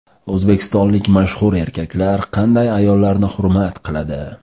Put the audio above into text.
O‘zbekistonlik mashhur erkaklar qanday ayollarni hurmat qiladi?.